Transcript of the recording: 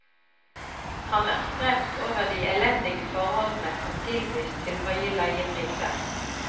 Han er skremt over de elendige forholdene som tilbys til høye leiepriser.